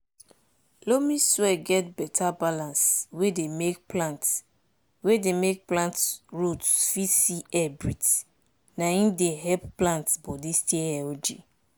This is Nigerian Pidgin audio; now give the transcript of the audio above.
loamy soil get beta balance wey deymake plant wey deymake plant root fit see air breathe na im dey help plant body stay healthy